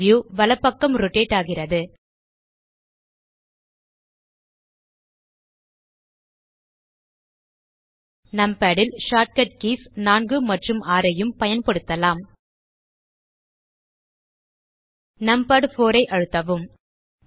view வலப்பக்கம் rotate ஆகிறது numpad ல் ஷார்ட் கட் கீஸ் 4 மற்றும் 6 ஐயும் பயன்படுத்தலாம் நம்பாட் 4 ஐ அழுத்தவும்